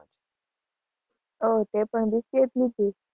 ઓહ તે પણ BCA જે લીધું.